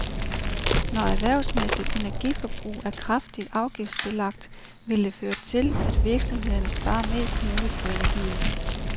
Når erhvervsmæssigt energiforbrug er kraftigt afgiftsbelagt, vil det føre til, at virksomhederne sparer mest muligt på energien.